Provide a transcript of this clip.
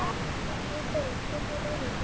Guðfreður, hvernig er veðrið í dag?